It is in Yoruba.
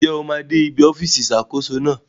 Njẹ óò máa dè ìbí ọfisi Ìṣàkóso náà